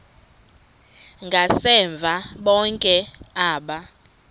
ngasemva bonke aba